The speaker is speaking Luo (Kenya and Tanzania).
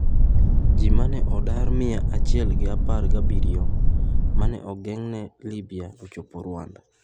Ji ma ne odar mia chiel gi apar gi abiriyo mane ogeng'ne Libya ochopo Rwanda